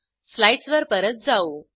slides वर परत जाऊ